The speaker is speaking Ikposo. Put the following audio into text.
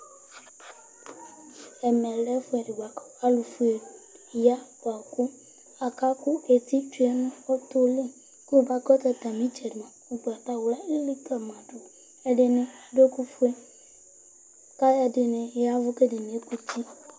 Ɛmɛlɛ ɛfʋɛdi bʋakʋ alu fʋe ni ya bʋakʋ aka ku eti tsʋe nʋ ɔtɔ li Kʋ akɔsu atami itsɛdi, ugbatawla Ɛdiní adu ɛku fʋe kʋ ɛdiní ya avu kʋ ɛdiní ekuti